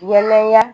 Yalaya